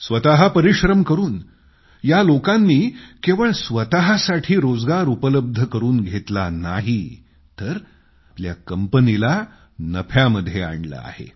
स्वतः परिश्रम करून या लोकांनी केवळ स्वतःसाठी रोजगार उपलब्ध करून घेतला नाही तर आपल्या कंपनीला नफ्यामध्ये आणलं आहे